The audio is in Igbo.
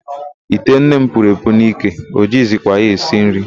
Ite nne m puru epu n'ike, o jighizikwa ya esi nri.